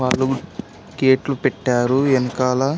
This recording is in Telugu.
వాళ్ళు గాట్లు పెట్టారు వెనకాల--